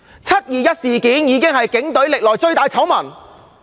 "七二一"事件是警隊歷年來最大的醜聞。